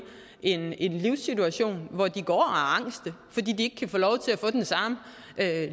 en en livssituation hvor de går og er angst fordi de ikke kan få lov til at